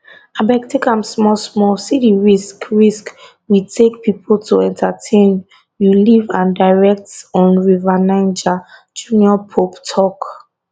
abeg take am small small see di risk risk we take pipo to entertain you live and direct on river niger junior pope tok